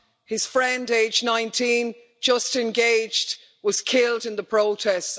His friend, aged 19, just engaged, was killed in the protests.